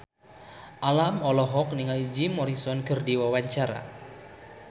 Alam olohok ningali Jim Morrison keur diwawancara